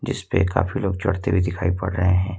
इस पे काफी लोग चढ़ते हुए दिखाई पड़ रहे है।